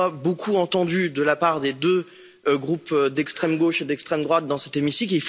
Je n'en ai pas beaucoup entendu de la part des deux groupes d'extrême gauche et d'extrême droite dans cet hémicycle.